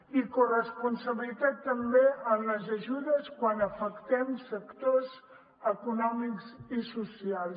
i corresponsabilitat també en les ajudes quan afecten sectors econòmics i socials